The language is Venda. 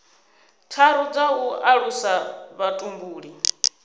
tharu dza u alusa vhutumbuli